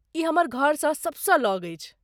ई हमर घरसँ सबसँ लग अछि।